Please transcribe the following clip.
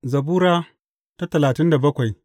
Zabura Sura talatin da bakwai